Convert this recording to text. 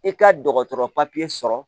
I ka dɔgɔtɔrɔ sɔrɔ